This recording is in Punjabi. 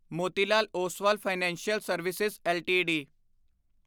Motilal Oswal financial service LTD